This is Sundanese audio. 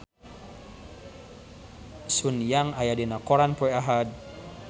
Sun Yang aya dina koran poe Ahad